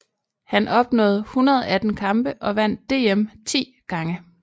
Han opnåede 118 kampe og vandt DM ti gange